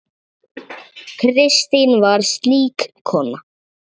Kristín var slík kona.